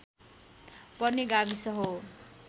पर्ने गाविस हो